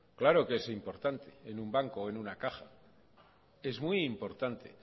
claro que es importante en un banco o en una caja es muy importante